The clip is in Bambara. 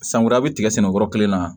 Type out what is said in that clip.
San wɛrɛ a be tigɛ sɛnɛ yɔrɔ kelen na